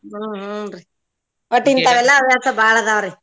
ಹ್ಮ್ ಹುನ್ರೀ ಒಟ್ ಇಂತಾವ್ ಎಲ್ಲಾ ಹವ್ಯಾಸ ಬಾಳ ಅದಾವ್ರಿ.